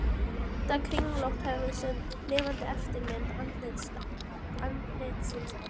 ótta kringlótta höfuð sem er lifandi eftirmynd andlitsins á